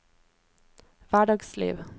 hverdagsliv